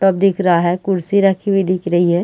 Tub दिख रहा है कुर्सी रखी हुई दिख रही है।